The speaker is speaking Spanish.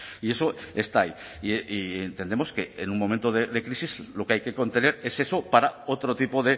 y eso está ahí y entendemos que en un momento de crisis lo que hay que contener es eso para otro tipo